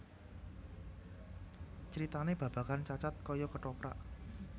Critanè babagan Cacad kaya kethoprak